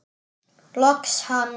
Loks hann!